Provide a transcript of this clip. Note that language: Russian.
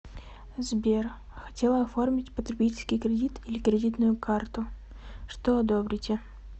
сбер хотела оформить потребительский кредит или кредитную карту что одобрите